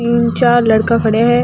तीन चार लड़का खड़े है।